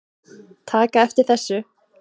taka eftir þessu